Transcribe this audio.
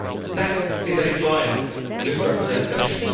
That is a vile misrepresentation.